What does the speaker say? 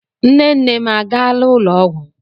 Nne nne m a gaala ụlọ ọgwụ?